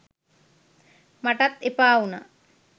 මටත් එපාවුනා